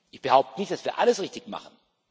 Ich behaupte nicht, dass wir alles richtig machen.